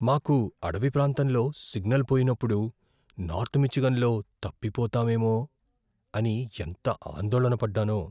మాకు అడవి ప్రాంతంలో సిగ్నల్ పోయినప్పుడు నార్త్ మిచిగన్లో తప్పిపోతామేమో అనిఎంత ఆందోళన పడ్డానో!